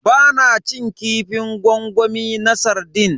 Ba na cin kifin gwangwami na sardine.